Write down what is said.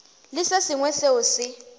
le se sengwe seo se